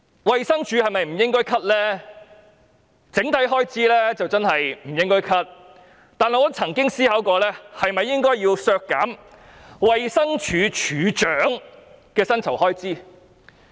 衞生署的整體開支是不應該削減的，但我曾思考過是否應該削減衞生署署長的薪酬開支。